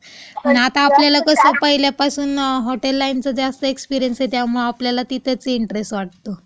अन आता आपल्याला कसं, पहिल्यापासून हॉटेल लाईनचा जास्त एक्सपिरीअन्स आहे, त्यामुळं आपल्याला तिथं त्याचं इंटरेस्ट वाटतो.